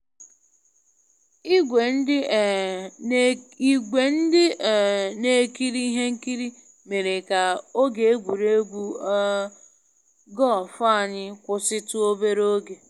Igwe ndị um na ekiri ihe nkiri mere ka oge egwuregwu um golf anyị kwụsịtụ obere oge